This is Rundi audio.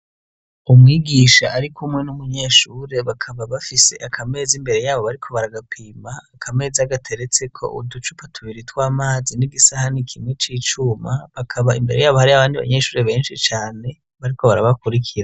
Umwigisha ari kumwe n'umunyeshure. Bakaba bafise akameza imbere yabo bariko baragapima. Akameza gateretseko uducupa tubiri tw'amazi, n'igisahani kimwe c'icuma. Bakaba imbere yabo hariho abandi abanyeshure benshi cane bariko barabakurikira.